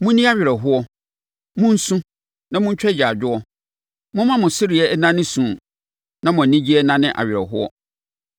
Monni awerɛhoɔ, monsu, na montwa agyaadwoɔ; momma mo sereɛ nnane su, na mo anigyeɛ nnane awerɛhoɔ.